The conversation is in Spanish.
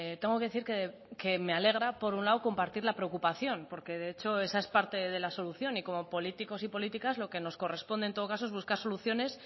tengo que decir que me alegra por un lado compartir la preocupación porque de hecho esa es parte de la solución y como políticos y políticas lo que nos corresponde en todo caso es buscar soluciones